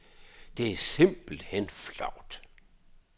Det er simpelt hen flovt.